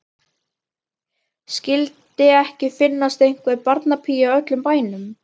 Skyldi ekki finnast einhver barnapía í öllum bænum.